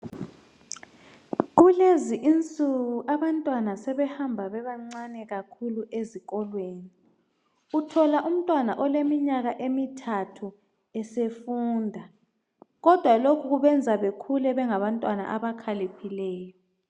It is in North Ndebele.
Kulezi insuku abantwana sebehamba bebancane kakhulu ezìkolweni. Uthola umntwana oleminyaka emithathu esefunda kodwa lokhu kwenza bakhule bekhaliphile.